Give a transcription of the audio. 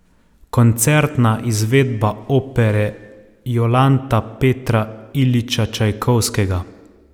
Koncertna izvedba opere Jolanta Petra Iljiča Čajkovskega.